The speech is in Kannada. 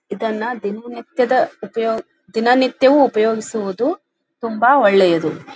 ಇದನ್ನ ದಿನನಿತ್ಯದ ಉಪಯೋಗ್ ದಿನನಿತ್ಯವೂ ಉಪಯೋಗಿಸುವುದು ತುಂಬಾ ಒಳ್ಳೆಯದು.